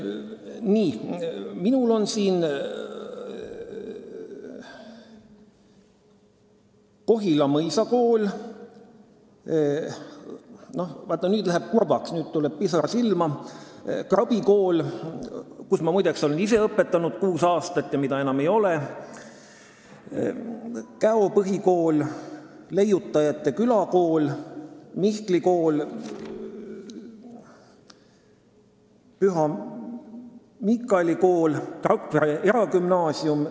Nii, minul on siin Kohila Mõisakool, nüüd läheb kurvaks, nüüd tuleb pisar silma, sest siin on kirjas Krabi Kool, kus ma ise olen kuus aastat õpetanud ja mida enam ei ole, Käo Põhikool, Leiutajate Külakool, Mihkli Kool, Püha Miikaeli Kool ja Rakvere Eragümnaasium.